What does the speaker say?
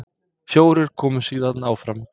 Fjórir komust síðan áfram.